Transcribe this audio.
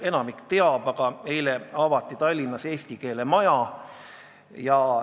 Enamik teist seda teab, aga ütlen siiski, et eile avati Tallinnas eesti keele maja.